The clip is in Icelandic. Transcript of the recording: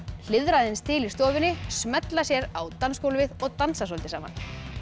hliðra aðeins til í stofunni smella sér á dansgólfið og dansa soldið saman